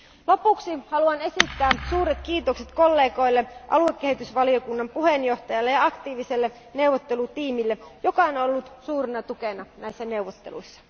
Lopuksi haluan esittää suuret kiitokset kollegoille, aluekehitysvaliokunnan puheenjohtajalle ja aktiiviselle neuvottelutiimille, joka on ollut suurena tukena näissä neuvotteluissa.